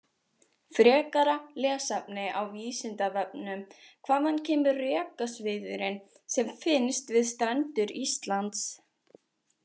Frekara lesefni á Vísindavefnum: Hvaðan kemur rekaviðurinn sem finnst við strendur Íslands?